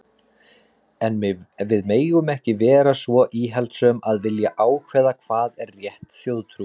En við megum ekki vera svo íhaldssöm að vilja ákveða hvað er rétt þjóðtrú.